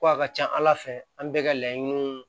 Ko a ka ca ala fɛ an bɛɛ ka laɲiniw